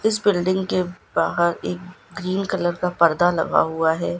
इस बिल्डिंग के बाहर एक ग्रीन कलर का पर्दा लगा हुआ है।